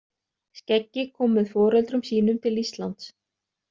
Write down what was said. Skeggi kom með foreldrum sínum til Íslands.